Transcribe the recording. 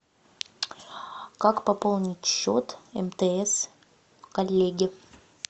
как пополнить счет мтс коллеги